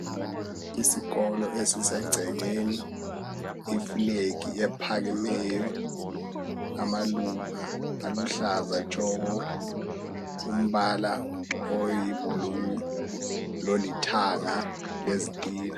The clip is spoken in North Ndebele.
Isikolo esisegcekeni iflag ephakemeyo, amaluba aluhlaza tshoko, umbala oyiblue lolithanga lezitina.